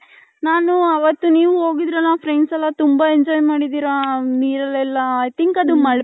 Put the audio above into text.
ನಾನು ಅವತು ನೀವು ಹೋಗಿದ್ರಲ್ಲ friends ಎಲ್ಲಾ ತುಂಬಾ enjoy ಮಾಡಿದಿರ ನೀರಲ್ ಎಲ್ಲಾ i think ಅದು